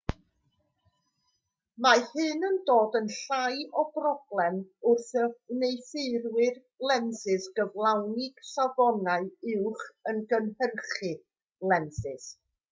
mae hyn yn dod yn llai o broblem wrth i wneuthurwyr lensys gyflawni safonau uwch wrth gynhyrchu lensys